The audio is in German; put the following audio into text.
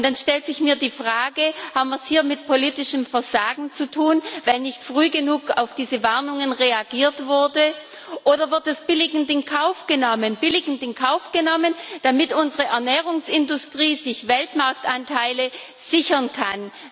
Und dann stellt sich mir die Frage Haben wir es hier mit politischem Versagen zu tun, weil nicht früh genug auf diese Warnungen reagiert wurde, oder wird es billigend in Kauf genommen, damit unsere Ernährungsindustrie sich Weltmarktanteile sichern kann?